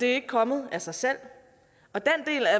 er ikke kommet af sig selv